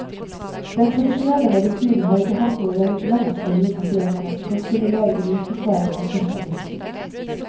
Den tradisjonelle medisinen har ikke hatt noe medikament å gi pasientene som kan stimulere immunforsvaret når man først er blitt syk.